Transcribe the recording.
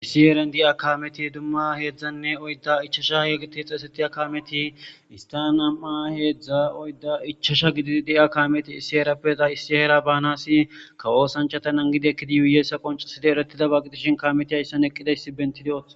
Issi herran de'iya kameti dumma hezdzdane oydda ichchacha giddidi xeyssatiya kameti ista nam'a hedzdza oydda ichchacha giddidi de'iya kameti issi herape issi heera banas kawo oththanchata nagidi eqqidi dizayssa qonccizayssa giddishinkameti eqqi dizayssa bettidosona.